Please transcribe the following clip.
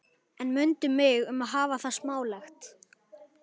En mundu mig um að hafa það smálegt.